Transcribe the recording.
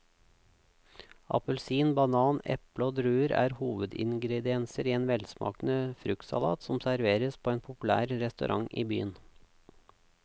Appelsin, banan, eple og druer er hovedingredienser i en velsmakende fruktsalat som serveres på en populær restaurant i byen.